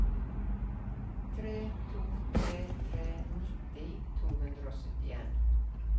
tre to tre tre nitti to hundre og syttien